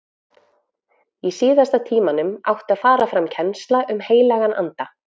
Í síðasta tímanum átti að fara fram kennsla um heilagan anda.